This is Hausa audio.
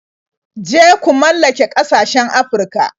Je ku mallake ƙasashen Afirka.